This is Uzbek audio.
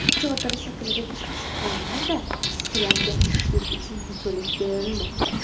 Chodir shaklidagi oshxonada ishchilarga tushlik uchun yegulik berilmoqda.